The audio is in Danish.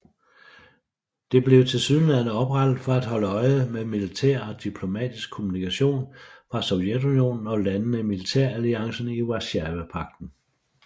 Det blev tilsyneladende oprettet for at holde øje med militær og diplomatisk kommunikation fra Sovjetunionen og landene i militæralliancen Warszawapagten